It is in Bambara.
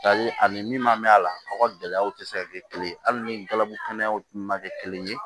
Hali ani min ma mɛn a la aw ka gɛlɛyaw tɛ se ka kɛ kelen ye hali ni galabugu kɛnɛyaw tun ma kɛ kelen ye